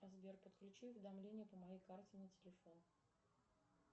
сбер подключи уведомления по моей карте на телефон